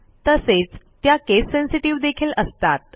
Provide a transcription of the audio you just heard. तसेच त्या case sensitive देखील असतात